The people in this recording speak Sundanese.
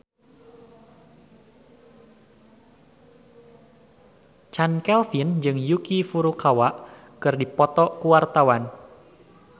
Chand Kelvin jeung Yuki Furukawa keur dipoto ku wartawan